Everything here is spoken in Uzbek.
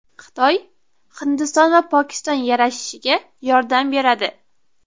Xitoy Hindiston va Pokiston yarashishiga yordam beradi.